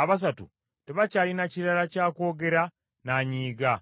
abasatu tebakyalina kirala kya kwogera, n’anyiiga.